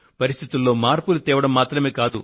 పరిస్థితుల్లో మార్పులు తేవడం మాత్రమే కాదు